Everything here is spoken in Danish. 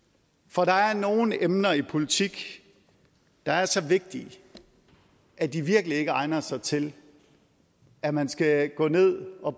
for der er nogle emner i politik der er så vigtige at de virkelig ikke egner sig til at man skal gå ned og